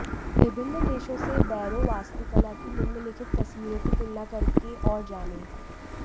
विभिन्न देशों से बैरो वास्तुकला की निम्नलिखित तस्वीरों की तुलना करके और जानें